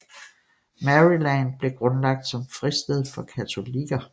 Maryland blev grundlagt som fristed for katolikker